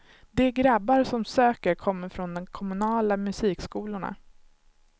De grabbar som söker kommer från de kommunala musikskolorna.